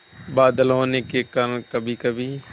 बादल होने के कारण कभीकभी